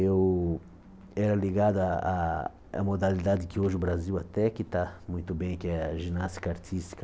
Eu era ligado à à à modalidade que hoje o Brasil até que está muito bem, que é a ginástica artística.